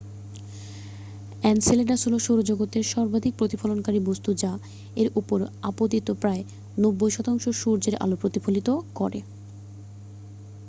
Enceladus হলো সৌরজগতের সর্বাধিক প্রতিফলনকারী বস্তু যা এর ওপর আপতিত প্রায় 90 শতাংশ সূর্যের আলো প্রতিফলিত করে